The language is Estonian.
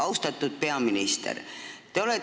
Austatud peaminister!